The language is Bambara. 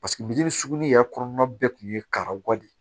biri suguni yɛrɛ kɔnɔna bɛɛ tun ye karawale de